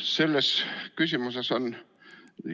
Selles küsimuses on